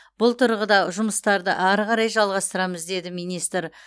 бұл тұрғыда жұмыстарды ары қарай жалғастырамыз деді министр